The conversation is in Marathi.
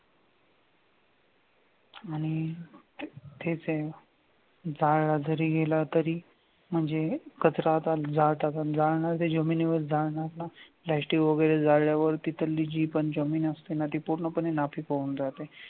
आणि तेथे जाळलाजरी गेला तरी म्हणजे कचरा जाळणार तो जमिनीवर जाळणार ना plastic वगैरे जाळल्यावर तिथली जमीन असते ना ती ती पूर्णपणे नापिक होऊन जाते.